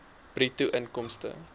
bruto inkomste